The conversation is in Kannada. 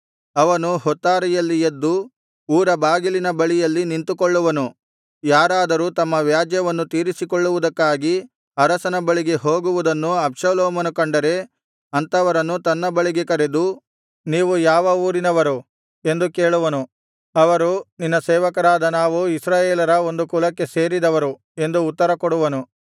ಅವನು ಹೊತ್ತಾರೆಯಲ್ಲಿ ಎದ್ದು ಊರ ಬಾಗಿಲಿನ ಬಳಿಯಲ್ಲಿ ನಿಂತುಕೊಳ್ಳುವನು ಯಾರಾದರೂ ತಮ್ಮ ವ್ಯಾಜ್ಯವನ್ನು ತೀರಿಸಿಕೊಳ್ಳುವುದಕ್ಕಾಗಿ ಅರಸನ ಬಳಿಗೆ ಹೋಗುವುದನ್ನು ಅಬ್ಷಾಲೋಮನು ಕಂಡರೆ ಅಂಥವರನ್ನು ತನ್ನ ಬಳಿಗೆ ಕರೆದು ನೀವು ಯಾವ ಊರಿನರವರು ಎಂದು ಕೇಳುವನು ಅವರು ನಿನ್ನ ಸೇವಕರಾದ ನಾವು ಇಸ್ರಾಯೇಲರ ಒಂದು ಕುಲಕ್ಕೆ ಸೇರಿದವರು ಎಂದು ಉತ್ತರ ಕೊಡುವರು